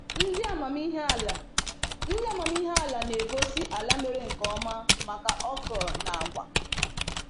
Ndị amamihe ala Ndị amamihe ala na-egosi ala mere nkeoma maka okra na agwa